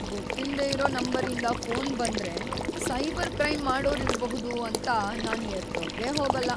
ಗೊತ್ತಿಲ್ದೆ ಇರೋ ನಂಬರಿಂದ ಫೋನ್‌ ಬಂದ್ರೆ ಸೈಬರ್ ಕ್ರೈಂ ಮಾಡೋರಿರ್ಬಹುದು ಅಂತ ನಾನ್‌ ಎತ್ತೋಕೇ ಹೋಗಲ್ಲ.